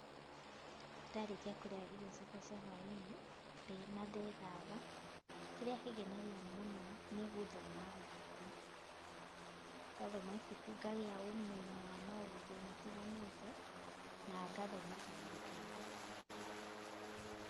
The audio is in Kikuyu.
Ndarĩkia kũrĩa irio ciakwa cia hwai-inĩ, na ndethamba, kĩrĩa kĩngenagia mũno, nĩ gũthoma ibuku. Ngathoma ibuku ngagĩa ũmenyo wa maũndũ matiganĩĩte, na ngathoma kaũndũ keru.